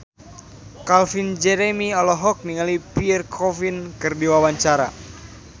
Calvin Jeremy olohok ningali Pierre Coffin keur diwawancara